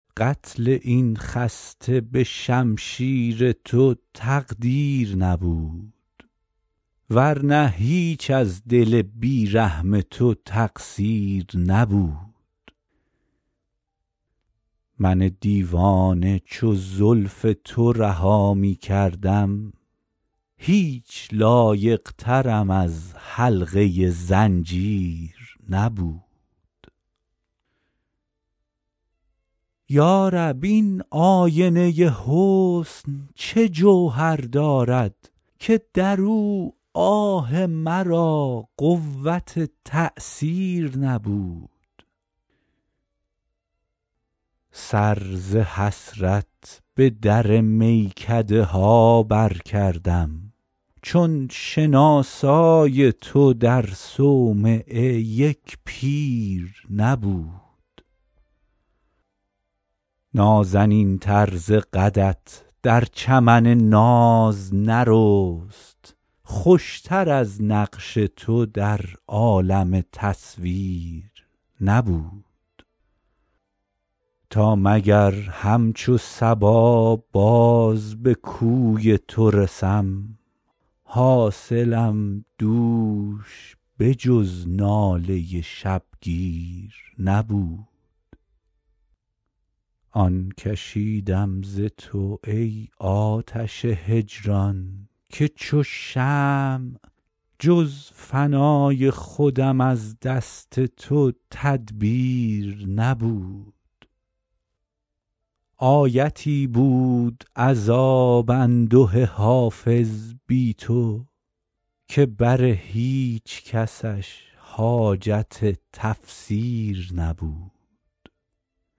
قتل این خسته به شمشیر تو تقدیر نبود ور نه هیچ از دل بی رحم تو تقصیر نبود من دیوانه چو زلف تو رها می کردم هیچ لایق ترم از حلقه زنجیر نبود یا رب این آینه حسن چه جوهر دارد که در او آه مرا قوت تأثیر نبود سر ز حسرت به در میکده ها برکردم چون شناسای تو در صومعه یک پیر نبود نازنین تر ز قدت در چمن ناز نرست خوش تر از نقش تو در عالم تصویر نبود تا مگر همچو صبا باز به کوی تو رسم حاصلم دوش به جز ناله شبگیر نبود آن کشیدم ز تو ای آتش هجران که چو شمع جز فنای خودم از دست تو تدبیر نبود آیتی بود عذاب انده حافظ بی تو که بر هیچ کسش حاجت تفسیر نبود